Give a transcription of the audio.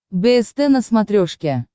бст на смотрешке